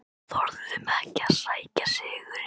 Þorðum ekki að sækja sigurinn